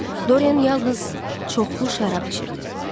Dorian yalnız çoxlu şərab içirdi.